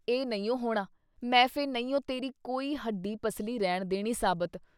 ਇਹ ਨਹੀਂਉ ਹੋਣਾ ? ਮੈਂ ਫੇ' ਨਹੀਂਉ ਤੇਰੀ ਕੋਈ ਹੱਡੀ ਪਸੱਲੀ ਰਹਿਣ ਦੇਣੀ ਸਾਬਿਤ ।